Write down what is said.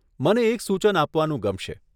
મને એક સૂચન આપવાનું ગમશે.